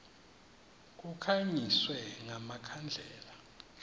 kukhanyiswe nga makhandlela